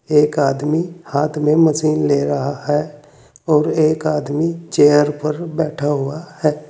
एक आदमी हाथ में मशीन ले रहा है और एक आदमी चेयर पर बैठा हुआ है।